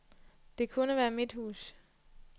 Det kunne være mit hus.